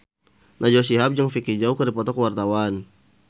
Najwa Shihab jeung Vicki Zao keur dipoto ku wartawan